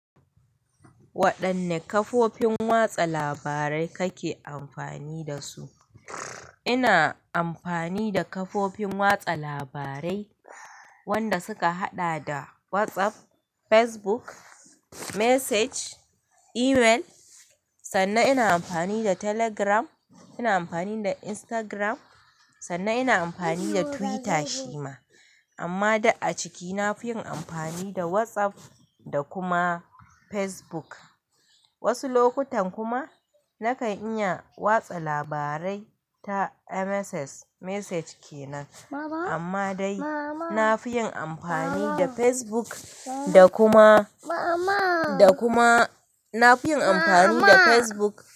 Waɗanne kafofin watsa labarai kake amfani da su? Ina amfani da kafofin watsa labarai wanda suka haɗa da WhatsApp, Facebook, message, email. Sannan ina amfani da Telegram, ina amfani da Instagram. Sannan ina amfani da Twitter shima. Amma duk aciki na fiyin amfani da WhatsApp da kuma Facebook. Wasu lokutan kuma nakan iya watsa labarai ta MSs message kenan. Amma dai na fi yin amfani da Facebook da kuma, da kuma na fi yin amfani da Facebook.